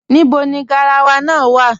Níbọ̀ ni gáràwà náà wà?